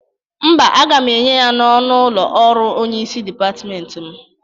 Mba, agam enye ya n'ọnụ ụlọ ọrụ onyeisi dịpatmenti m